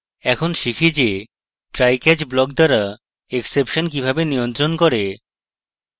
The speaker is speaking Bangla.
এখন শিখি যে try catch block দ্বারা exception কিভাবে নিয়ন্ত্রণ করে